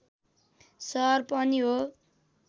सहर पनि हो